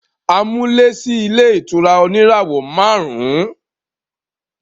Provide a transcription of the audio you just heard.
A mú lé sí ilé ìtura oníràwọ̀ máàrún